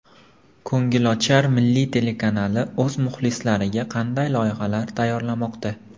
Ko‘ngilochar Milliy telekanali o‘z muxlislariga qanday loyihalar tayyorlamoqda?